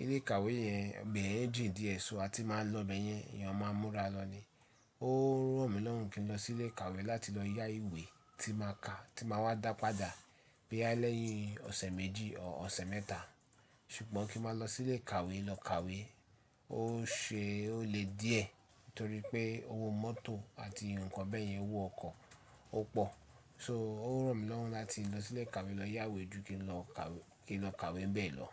Ilé ìkàwé yẹn, bẹ̀ ẹ́ dì í di ẹ́ ṣọ, a ti máa ń lọ bẹ̀ yẹn, èèyàn máa ń múra lọ ni. Ó ràn mí lọ́wọ́ kí n lọ sí ilé ìkàwé láti lọ yá ìwé tí máa ka, tí màá wá dá padà bí àlẹ́yìn ọ̀sẹ̀ méjì ọ̀ ọ̀sẹ̀ mẹ́ta. Ṣùgbọ́n kí n má lọ sí ilé ìkàwé lọ kàwé ó ṣe ó le díẹ̀ torí pé owó mọ́tò àti ǹkan bẹ́ẹ̀ yẹn, owó ọkọ̀ ó pọ̀. So ó ràn mí lọ́wọ́ láti lọ sí ilé ìkàwé lọ yá ìwé ju kí n lọ kàw-kí n lọ kàwé n bẹ̀ lọ.